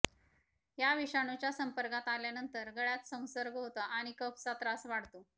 या विषाणूच्या संपर्कात आल्यानंतर गळ्यात संसर्ग होतो आणि कफचा त्रास वाढतो